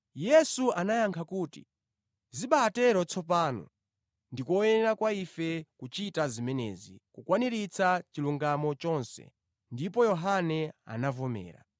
Yesu anayankha kuti, “Zibatero tsopano, ndi koyenera kwa ife kuchita zimenezi kukwaniritsa chilungamo chonse.” Ndipo Yohane anavomera.